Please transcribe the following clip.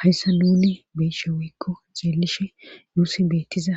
Hayssa nune beshe woykko xeelishe nuus beettiza